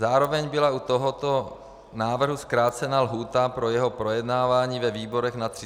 Zároveň byla u tohoto návrhu zkrácena lhůta pro jeho projednávání ve výborech na 30 dní.